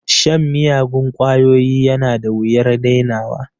Shan miyagun ƙwayoyi yana da wuyar dainawa